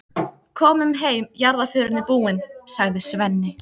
Komum heim, jarðarförin er búin, sagði Svenni.